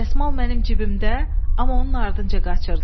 Dəsmal mənim cibimdə, amma onun ardınca qaçırdılar.